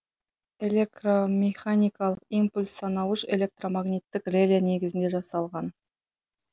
элекромеханиқалық импульс санауыш электромагниттік реле негізінде жасалған